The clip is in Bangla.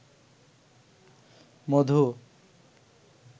মধু